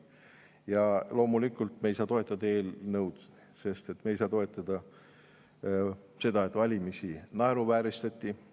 Ja loomulikult me ei saa toetada eelnõu, sest me ei saa toetada seda, et valimisi naeruvääristati.